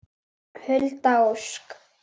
Hulda Ósk.